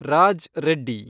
Raj Reddy